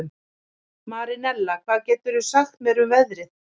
Marinella, hvað geturðu sagt mér um veðrið?